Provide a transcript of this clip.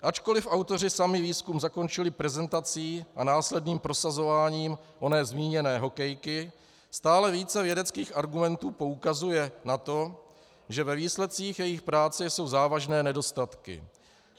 Ačkoliv autoři sami výzkum zakončili prezentací a následným prosazováním oné zmíněné hokejky, stále více vědeckých argumentů poukazuje na to, že ve výsledcích jejich práce jsou závažné nedostatky.